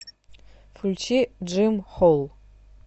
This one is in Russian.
включи джим холл